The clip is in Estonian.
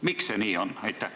Miks see nii on?